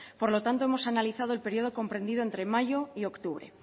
por lo tanto hemos analizado el periodo comprendido entre mayo y octubre